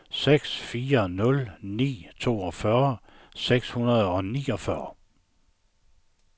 seks fire nul ni toogfyrre seks hundrede og niogfyrre